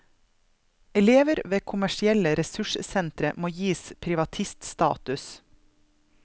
Elever ved kommersielle ressurssentre må gis privatiststatus.